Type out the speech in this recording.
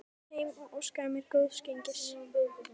Hann keyrði mig heim og óskaði mér góðs gengis.